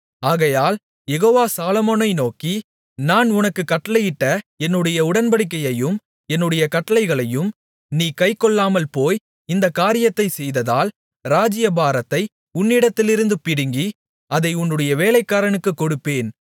ஆகையால் யெகோவா சாலொமோனை நோக்கி நான் உனக்குக் கட்டளையிட்ட என்னுடைய உடன்படிக்கையையும் என்னுடைய கட்டளைகளையும் நீ கைக்கொள்ளாமல்போய் இந்தக் காரியத்தைச் செய்ததால் ராஜ்ஜியபாரத்தை உன்னிடத்திலிருந்து பிடுங்கி அதை உன்னுடைய வேலைக்காரனுக்குக் கொடுப்பேன்